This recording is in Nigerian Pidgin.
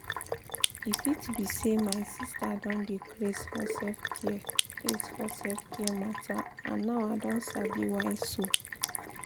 e fit be say my sister don dey craze for self-care craze for self-care matter and now i don sabi why so.